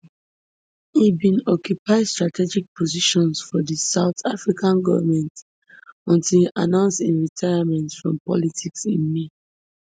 e bin occupy strategic positions for di south african goment until e announce im retirement from politics in may